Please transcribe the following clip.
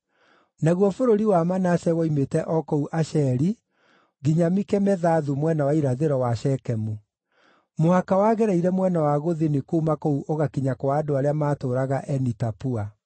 Naguo bũrũri wa Manase woimĩte o kũu Asheri nginya Mikemethathu mwena wa irathĩro wa Shekemu. Mũhaka wagereire mwena wa gũthini kuuma kũu ũgakinya kwa andũ arĩa maatũũraga Eni-Tapua.